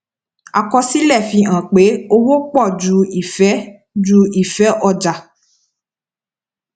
àkọsílẹ fi hàn pé owó pọ ju ìfé ju ìfé ọjà